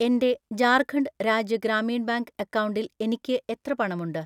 എൻ്റെ ജാർഖണ്ഡ് രാജ്യ ഗ്രാമീൺ ബാങ്ക് അക്കൗണ്ടിൽ എനിക്ക് എത്ര പണമുണ്ട്?